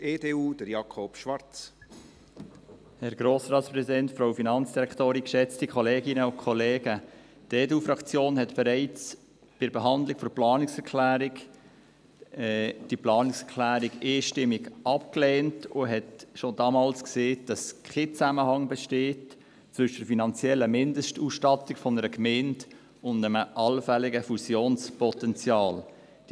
Die EDU-Fraktion lehnte diese Planungserklärung bereits bei ihrer Behandlung einstimmig ab und sagte schon damals, dass zwischen der finanziellen Mindestausstattung einer Gemeinde und einem allfälligen Fusionspotenzial kein Zusammenhang bestehe.